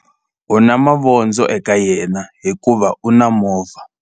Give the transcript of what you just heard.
U na mavondzo eka yena hikuva u na movha.